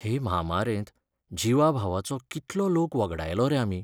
हे म्हामारेंत जिवाभावाचो कितलो लोक वगडायलो रे आमी!